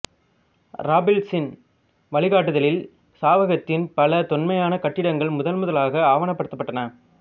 இராபிள்சின் வழிகாட்டுதலில் சாவகத்தின் பல தொன்மையான கட்டிடங்கள் முதனமுதலாக ஆவணப்படுத்தப்பட்டன